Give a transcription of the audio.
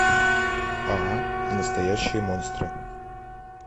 а настоящие монстры